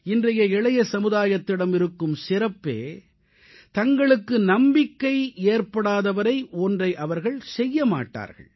இன்றைய இளைய சமுதாயத்திடம் இருக்கும் சிறப்பே தங்களுக்கு நம்பிக்கை ஏற்படாத வரை ஒன்றை அவர்கள் செய்ய மாட்டார்கள்